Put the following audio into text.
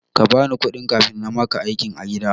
Kabani kuɗi kafin namaka aiki a gida.